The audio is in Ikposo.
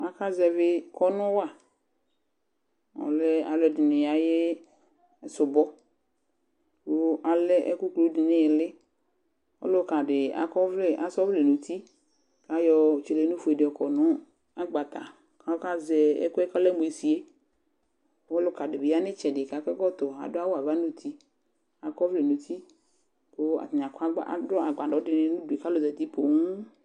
Akazɛvɩ kɔnʋ wa Ɔlɛ alʋɛdɩnɩ ayʋ sʋbɔ kʋ alɛ ɛkʋ kulu dɩ nʋ ɩɩlɩ Ɔlʋka dɩ akɔ ɔvlɛ, asa ɔvlɛ nʋ uti kʋ ayɔ tselenufue dɩ yɔkɔ nʋ agbata kʋ ɔkazɛ ɛkʋ yɛ kʋ ɔlɛ mʋ esi yɛ kʋ ɔlʋka dɩ bɩ ya nʋ ɩtsɛdɩ kʋ akɔ ɛkɔtɔ, adʋ awʋ ava nʋ uti Akɔ ɔvlɛ nʋ uti kʋ atanɩ akɔ agba adʋ agbadɔ dɩnɩ nʋ udu yɛ kʋ alʋ zati poo